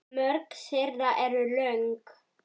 Mörg þeirra eru löng.